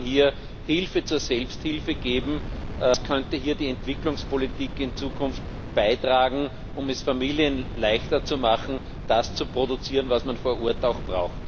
Wie kann man hier Hilfe zur Selbsthilfe geben? Was könnte hier die Entwicklungspolitik in Zukunft beitragen, um es Familien leichter zu machen, das zu produzieren, was man vor Ort auch braucht?